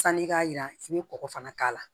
Sanni i k'a yira k'i bɛ kɔkɔ fana k'a la